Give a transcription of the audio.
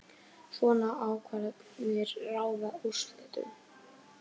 Svona ákvarðanir ráða úrslitum